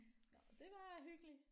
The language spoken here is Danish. Nåh det var hyggeligt